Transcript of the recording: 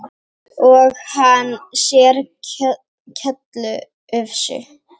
Og hann sér kjóllufsu.